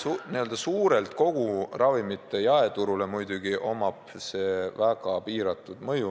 Üldiselt on sellel kogu ravimite jaeturule muidugi väga piiratud mõju.